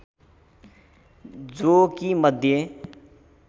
जो कि मध्य